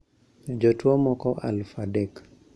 Jotuo moko aluf adek